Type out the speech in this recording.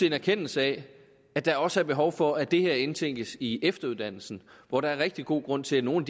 en erkendelse af at der også er behov for at det her indtænkes i efteruddannelsen hvor der er rigtig god grund til at nogle